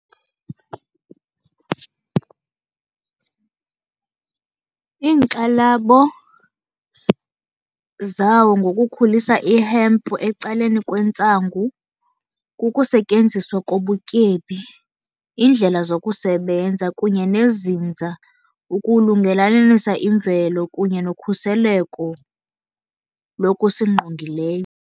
Iinkxalabo zawo ngokukhulisa i-hemp ecaleni kwentsangu kukusetyenziswa kobutyebi, iindlela zokusebenza kunye nezinza, ukulungelelanisa imvelo kunye nokhuseleko lokusingqongileyo.